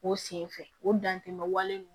O senfɛ o dantɛmɛ wale